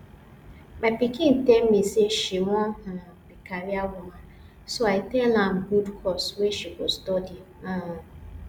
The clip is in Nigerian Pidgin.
my pikin tell me say she wan um be career woman so i tell am good course wey she go study um